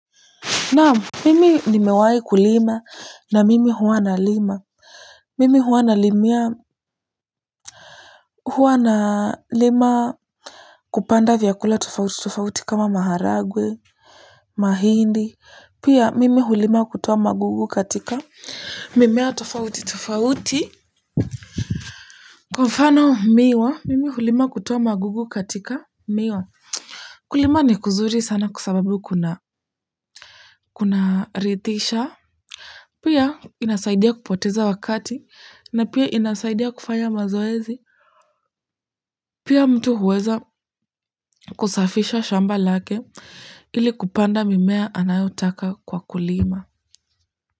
Naam, mimi nimewahi kulima na mimi huwa nalima. Mimi huwa nalimia huwa nalima kupanda vyakula tofauti tofauti kama maharagwe, mahindi. Pia mimi hulima kutoa magugu katika mimea tofauti tofauti kwa mfano miwa, mimi hulima kutoa magugu katika miwa. Kulima ni kuzuri sana kwa sababu kuna kuna rithisha. Pia inasaidia kupoteza wakati na pia inasaidia kufanya mazoezi pia mtu huweza kusafisha shamba lake ili kupanda mimea anayotaka kwa kulima.